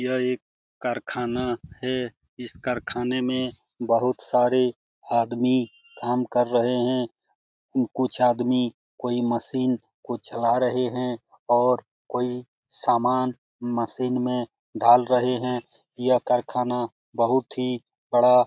यह एक कारखाना है इस कारखाने मे बहुत सारे आदमी काम कर रहे हैं कुछ आदमी कोई मशीन को चला रहे हैं और कोई सामान मशीन मे डाल रहे हैं यह कारखाना बहुत ही बड़ा --